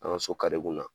An ka so kari kunna